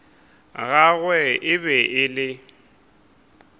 gagwe e be e le